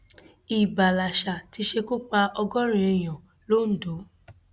ìbá lásà ti ṣekú pa ọgọrin èèyàn londo